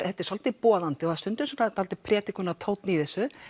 þetta er svolítið boðandi og stundum svolítill predikunartónn í þessu